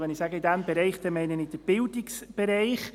Mit «diesem Bereich» meine ich den Bildungsbereich.